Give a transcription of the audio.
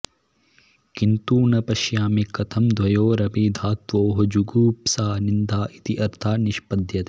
किन्तु न पश्यामि कथं द्वयोरपि धात्वोः जुगुप्सा निन्दा इति अर्थः निष्पद्यते